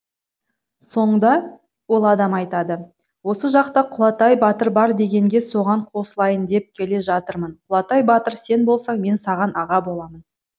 соңда ол адам айтады осы жақта құлатай батыр бар дегенге соған қосылайын деп келе жатырмын құлатай батыр сен болсаң мен саған аға боламын